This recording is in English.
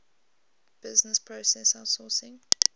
business process outsourcing